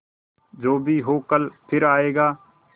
जो भी हो कल फिर आएगा